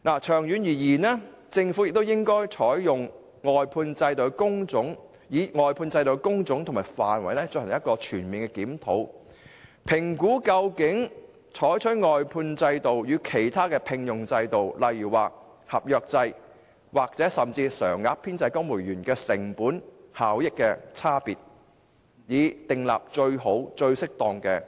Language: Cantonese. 長遠而言，政府應就外判制度的工種和範圍進行全面檢討，評估採用外判制度與其他聘用制度，例如合約制或甚至公務員常額編制，在成本效益上的差異，以訂立最好、最適當的僱傭制度。